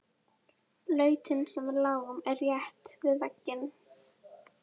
Lautin sem við lágum í er rétt við veginn.